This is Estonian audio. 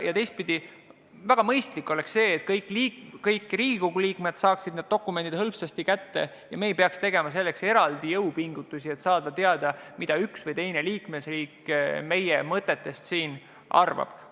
Ja teistpidi, väga mõistlik oleks, kui kõik Riigikogu liikmed saaksid need dokumendid hõlpsasti kätte ja me ei peaks tegema eraldi jõupingutusi, et saada teada, mida üks või teine liikmesriik meie mõtetest arvab.